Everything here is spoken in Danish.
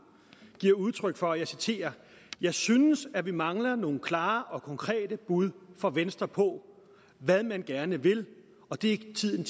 giver udtryk for følgende og jeg citerer jeg synes at vi mangler nogle klare og konkrete bud fra venstre på hvad man gerne vil og det er tiden